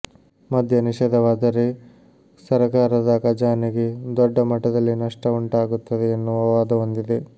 ಮದ್ಯ ನಿಷೇಧವಾದರೆ ಸರಕಾರದ ಖಜಾನೆಗೆ ದೊಡ್ಡ ಮಟ್ಟದಲ್ಲಿ ನಷ್ಟವುಂಟಾಗುತ್ತದೆ ಎನ್ನುವ ವಾದವೊಂದಿದೆ